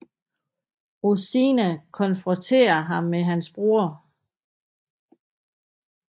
Rosina konfronterer ham med hans bror